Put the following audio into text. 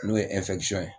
N'o ye ye